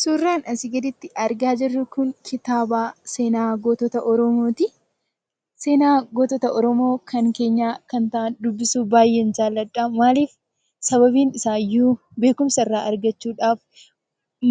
Suuraan asii gaditti argaa jirru Kun, kitaaba seenaa gootota oromooti. Seenaa gootota oromoo kan keenya kan ta'an dubbisuuf baayyeen jaalladha. Maaliif ? Sababni isaa iyyuu beekumsa irraa argachuudhaaf,